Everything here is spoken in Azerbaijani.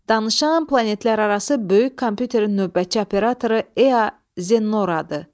Danışan planetlərarası böyük kompyuterin növbətçi operatoru EA Zennoradır.